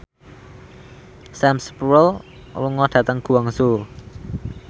Sam Spruell lunga dhateng Guangzhou